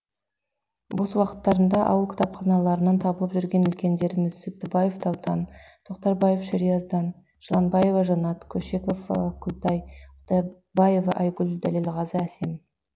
бос уақыттарында ауыл кітапханаларынан табылып жүрген үлкендеріміз сүттібаев даутан тоқтарбаев шеризадан жыланбаева жанат көшекова күлтай құдабаева айгүл дәлелғазы әсем